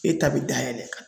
E ta bɛ dayɛlɛ